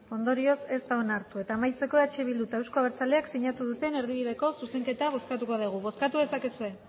ondorioz ez da onartu eta amaitzeko eh bildu eta euzko abertzaleak sinatu duten erdibideko zuzenketa bozkatuko dugu bozkatu dezakezue